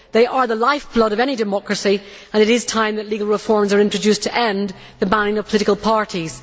They are the lifeblood of any democracy, and it is time that legal reforms were introduced to end the banning of political parties.